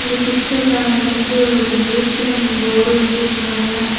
இந்த பிச்சர்லெ வந்துட்டு ஒரு ஏ_டி_எம் போர்டு வச்சிருக்காங்க.